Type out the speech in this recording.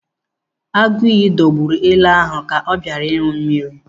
Agụiyi dọgburu ele ahụ ka ọ bịara ịṅụ mmiri